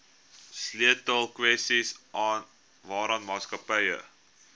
sleutelkwessies waaraan maatskappye